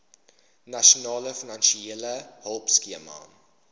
nasionale finansiële hulpskema